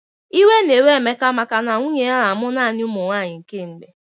Iwe na-ewe Emeka maka na nwunnye ya na-amụ naanị ụmụnwaanyị kemgbe.